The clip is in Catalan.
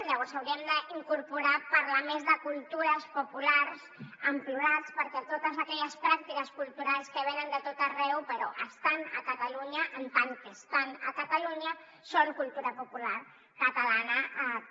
llavors hauríem d’incorporar parlar més de cultures populars en plural perquè totes aquelles pràctiques culturals que venen de tot arreu però estan a catalunya en tant que estan a catalunya són cultura popular catalana també